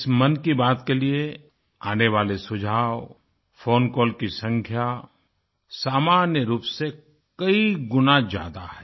इस मन की बात के लिये आने वाले सुझाव फोन कॉल की संख्या सामान्य रूप से कई गुणा ज्यादा है